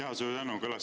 Jaa, suur tänu!